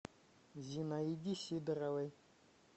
зинаиде сидоровой